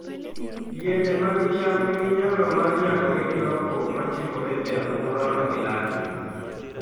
Yiende mag cham nigi nyalo mar nyagore gi lokruok ma timore e alwora ma gidakie.